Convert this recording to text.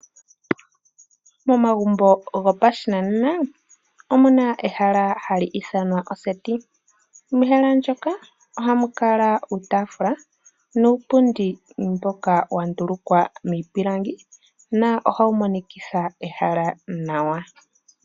Momagumbo go pashinanena omuna ehala ha li ithanwa oseti. Mehala ndyoka oha mu kala uutaafula, nuupundi mboka wa ndulukwa miipilangi. Na ohawu monikitha ehala nawa.